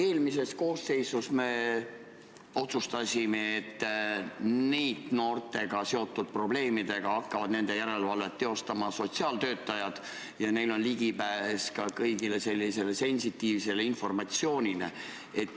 Eelmises koosseisus me otsustasime, et NEET-noortega seotud probleemide järelevalvet hakkavad tegema sotsiaaltöötajad ja neil on ligipääs ka kogu sensitiivsele informatsioonile.